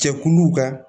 Jɛkuluw ka